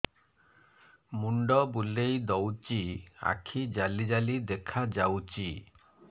ମୁଣ୍ଡ ବୁଲେଇ ଦଉଚି ଆଖି ଜାଲି ଜାଲି ଦେଖା ଯାଉଚି